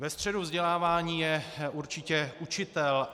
Ve středu vzdělávání je určitě učitel.